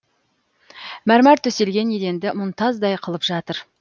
мәрмар төселген еденді мұнтаздай қылып жатыр